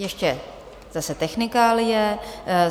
Ještě zase technikálie.